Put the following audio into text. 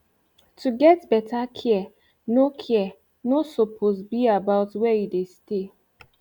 to get beta care no care no suppose be about were u dey stay